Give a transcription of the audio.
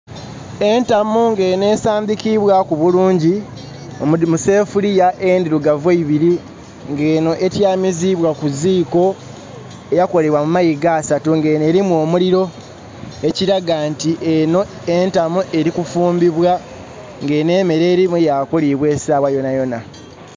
Entamu nga eno esandikibwaku bulungi, omudi musefuliya endirugavu eibiri nga eno etyamiziibwa kuziiko eyakolebwa mu mayiga asaatu nga eno elimu omuliro, ekiraga nti eno entamu erikufumbibwa, nga eno emeere erimu yakuliibwa esaawa yona yona